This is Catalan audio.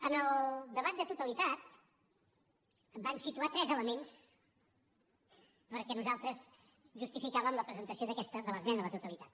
en el debat de totalitat em van situar tres elements perquè nosaltres justificàvem la presentació de l’esmena a la totalitat